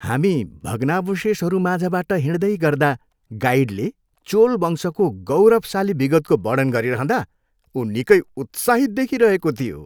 हामी भग्नावशेषहरूमाझबाट हिँड्दै गर्दा गाइडले चोल वंशको गौरवशाली विगतको वर्णन गरिरहँदा ऊ निकै उत्साहित देखिइरहेको थियो।